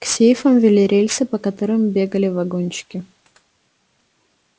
к сейфам вели рельсы по которым бегали вагончики